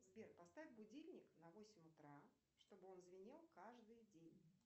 сбер поставь будильник на восемь утра чтобы он звенел каждый день